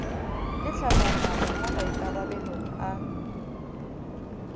le tlhahlamano mo maikarabelong a